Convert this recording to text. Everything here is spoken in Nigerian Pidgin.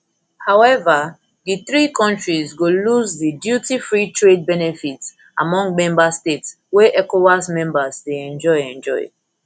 however di three kontris go lose di dutyfree trade benefits among member states wey ecowas members dey enjoy enjoy